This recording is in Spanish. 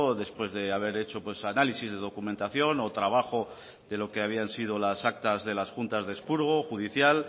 después de haber hecho análisis de documentación o trabajo de lo que habían sido las actas de las juntas de expurgo judicial